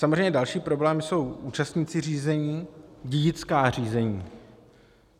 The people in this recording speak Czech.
Samozřejmě další problém jsou účastníci řízení, dědická řízení.